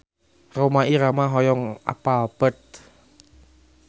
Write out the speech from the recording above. Rhoma Irama hoyong apal Perth